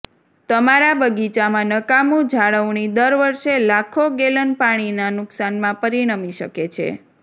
તમારા બગીચામાં નકામું જાળવણી દર વર્ષે લાખો ગેલન પાણીના નુકશાનમાં પરિણમી શકે છે